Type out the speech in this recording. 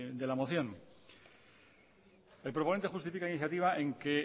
de la moción el proponente justifica la iniciativa en que